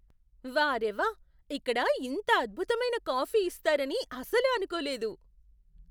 వార్రే వా! ఇక్కడ ఇంత అద్భుతమైన కాఫీ ఇస్తారని అసలు అనుకోలేదు.